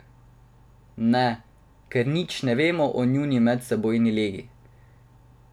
Ne, ker nič ne vemo o njuni medsebojni legi.